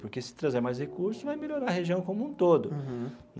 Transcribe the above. Porque se trazer mais recurso, vai melhorar a região como um todo. Uhum.